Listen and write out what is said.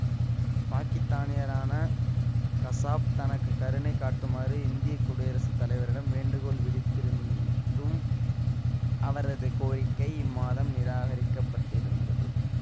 பாக்கித்தானியரான கசாப் தனக்கு கருணை காட்டுமாறு இந்திய குடியரசு தலைவரிடம் வேண்டுகோள் விடுத்திருந்தும் அவரது கோரிக்கை இம்மாதம் நிராகரிக்கப்பட்டிருந்தது